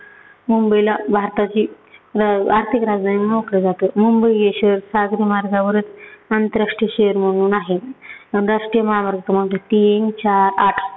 मुंबईला भारताची जं आर्थिक राजधानी म्हणून ओळखलं जातं. मुंबई हे शहर सागरी मार्गावर आंतरराष्ट्रीय शहर म्हणून आहे. आणि राष्ट्रीय महामार्ग क्रमांक तीन, चार, आठ